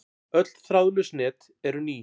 Öll þráðlaus net eru ný.